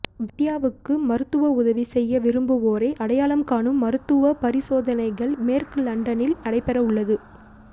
வித்யாவுக்கு மருத்துவ உதவி செய்ய விரும்புவோரை அடையாளம் காணும் மருத்துவ பரிசோதனைகள் மேற்கு லண்டனில் நடைபெறவுள்ளது